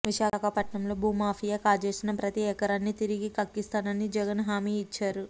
విశాఖపట్నంలో భూమాఫియా కాజేసిన ప్రతీ ఎకరాన్ని తిరిగి కక్కిస్తానని జగన్ హామీ ఇచ్చారు